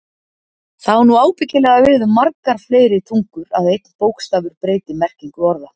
Það á nú ábyggilega við um margar fleiri tungur, að einn bókstafur breyti merkingu orða.